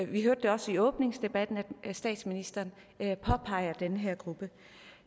vi hørte det også i åbningsdebatten at statsministeren påpegede den her gruppe